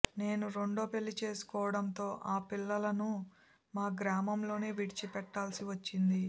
నేను రెండో పెళ్లి చేసుకోవడంతో ఆ పిల్లలను మా గ్రామంలోనే విడిచిపెట్టాల్సి వచ్చింది